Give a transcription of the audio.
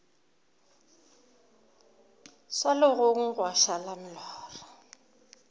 swa legong gwa šala molora